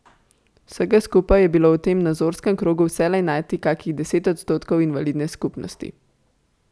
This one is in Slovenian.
Vsega skupaj je bilo v tem nazorskem krogu vselej najti kakih deset odstotkov invalidne skupnosti.